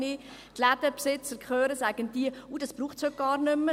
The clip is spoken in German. Wenn ich die Ladenbesitzer höre, sagen diese: «Das braucht es heute gar nicht mehr.